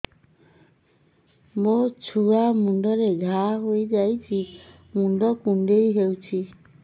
ମୋ ଛୁଆ ମୁଣ୍ଡରେ ଘାଆ ହୋଇଯାଇଛି ମୁଣ୍ଡ କୁଣ୍ଡେଇ ହେଉଛି